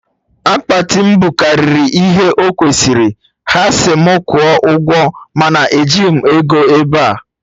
Akpati m bukarịrị ihe o kwesịrị, ha si mụ kwụọ ụgwọ mana ejighị m ego ebea